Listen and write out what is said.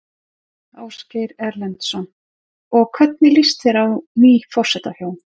Ásgeir Erlendsson: Og hvernig líst þér á ný forsetahjón?